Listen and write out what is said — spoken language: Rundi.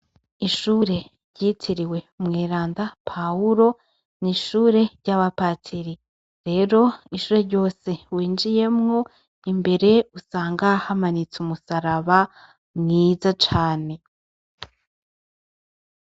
Ishure ryitiriwe umweranda paulo, n'ishure ry'abapadiri rero ishure ryose winjiyemwo imbere usanga hamanitse umusaraba mwiza cane .